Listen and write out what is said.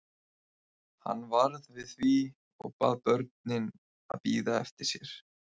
Hann varð við því og bað börnin að bíða eftir sér.